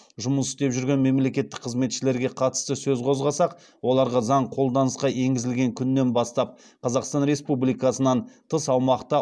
жұмыс істеп жүрген мемлекеттік қызметшілерге қатысты сөз қозғасақ оларға заң қолданысқа енгізілген күннен бастап қазақстан республикасынан тыс аумақта